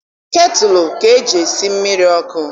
Ketụlụ ka eji esi mmiri ọkụ.